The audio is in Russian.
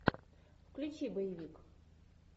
включи боевик